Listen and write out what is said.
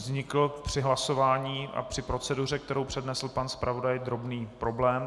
Vznikl při hlasování a při proceduře, kterou přednesl pan zpravodaj, drobný problém.